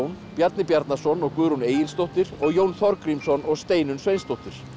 Bjarni Bjarnason og Guðrún Egilsdóttir og Jón Þorgrímsson og Steinunn Sveinsdóttir